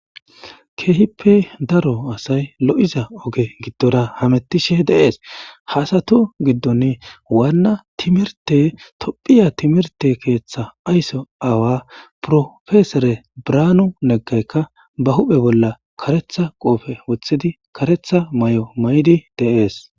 Keehippe daro asay lo7iza oge giddora hamettishe deees hasatu giddon waanna timirte tophiya timirte keeththa aysso aawa profesore braanu neggaykka ba huphe bolla karetha qoofe wothidi karetha may7o may7di deees.